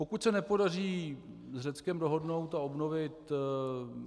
Pokud se nepodaří s Řeckem dohodnout a obnovit -